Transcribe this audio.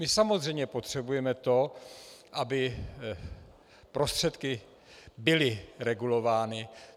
My samozřejmě potřebujeme to, aby prostředky byly regulovány.